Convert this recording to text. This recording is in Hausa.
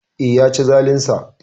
Eh, Yaci zalinsa